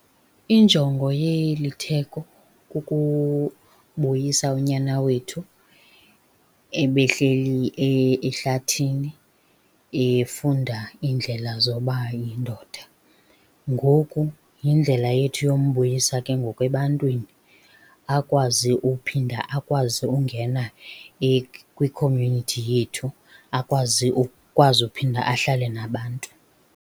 Injongo yeli theko kukubuyisa unyana wethu ebehleli ehlathini efunda iindlela zoba yindoda. Ngoku yindlela yethu yombuyisa ke ngoku ebantwini. Akwazi uphinda, akwazi ungena kwi-community yethu. Akwazi akwazi uphinda ahlale nabantu.